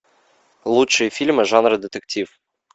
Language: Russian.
лучшие фильмы жанра детектив